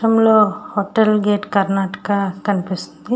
ఈ చిత్రంలోని hotel gate Karnataka అని కనిపిస్తుంది.